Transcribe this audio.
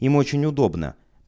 им очень удобно